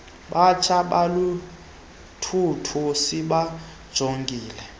batsha baluthuthu sibajongile